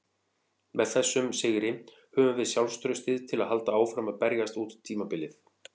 Með þessum sigri höfum við sjálfstraustið til að halda áfram að berjast út tímabilið.